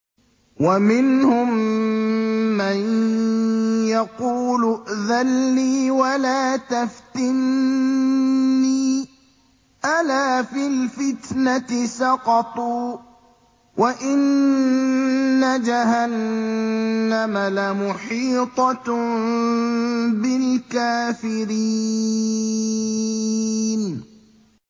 وَمِنْهُم مَّن يَقُولُ ائْذَن لِّي وَلَا تَفْتِنِّي ۚ أَلَا فِي الْفِتْنَةِ سَقَطُوا ۗ وَإِنَّ جَهَنَّمَ لَمُحِيطَةٌ بِالْكَافِرِينَ